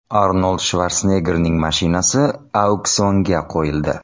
Arnold Shvarseneggerning mashinasi auksionga qo‘yildi.